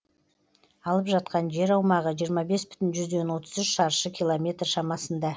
алып жатқан жер аумағы жиырма бес бүтін отыз үш шаршы километр шамасында